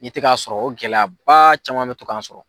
N'i tɛ k'a sɔrɔ o gɛlɛyaba caman bɛ to k'an sɔrɔ.